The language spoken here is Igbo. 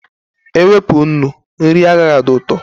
Ewepụ nnu, nri agaghị adị ụtọ